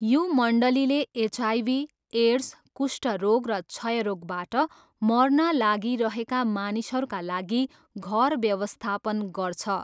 यो मन्डलीले HIV, AIDS, कुष्ठरोग र क्षयरोगबाट मर्न लागिरहेका मानिसहरूका लागि घर व्यवस्थापन गर्छ।